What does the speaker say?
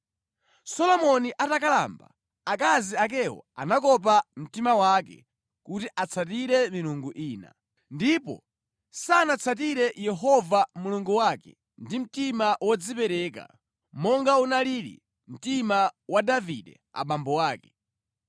Solomoni atakalamba, akazi akewo anakopa mtima wake kuti atsatire milungu ina, ndipo sanatsatire Yehova Mulungu wake ndi mtima wodzipereka, monga unalili mtima wa Davide abambo ake.